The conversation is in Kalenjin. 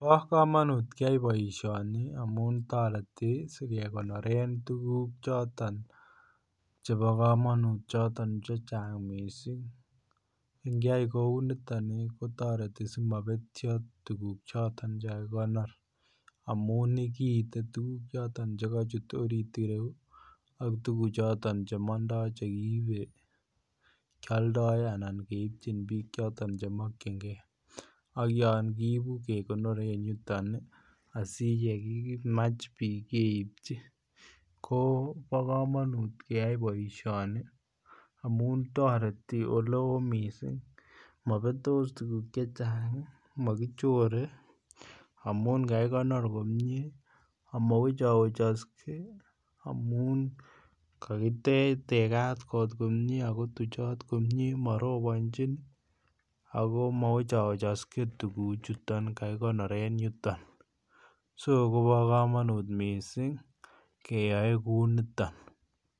Bo komonut keyoi boisioni amun toreti asi kegonoren tuguk choton chebo choton Che chang mising ingeyai kouniton kotoreti asi mobetyo tuguk choton Che kakikonor amun kiite tuguk choton Che kachut orit yuton ak tuguk alak Che mandoi keibchin bik Che ko mokyingei ak yon kiibu kegonoren yuton asi ye kimach bik keipchi kobo kamanut keyai boisioni amun toreti oleo mising mobetos tuguk Che Chang mokichore amun kagikonor komie amo wechowechokse amun tegat kot komie ago tuchot komie marobonjin ago amo wechowechokse tuguchoton kakikonoren yuton so kobo kamanut mising keyoe kouniton